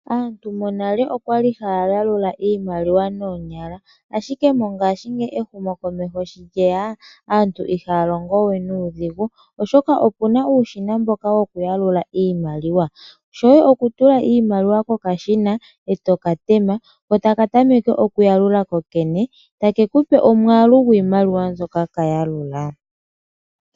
Aantu monale oya li haya yalula iimaliwa noonyala, ihe mongashingeyi ehumokomeho shi lye ya aantu ihaya longo we nuudhigu, oshoka opu na uushina mboka wokuyalula iimaliwa. Shoye okutula iimaliwa kokashina e to ka tema ko taka tameke okuyalula kokene take ku pe omwaalu gwiimaliwa mbyoka ka yalula.